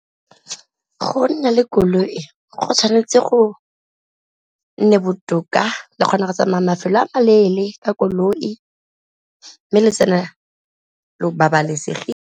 Go nna le koloi go tshwanetse go nne botoka le kgona go tsamaya mafelo a ma leele ka koloi, mme le tsena lo babalesegile.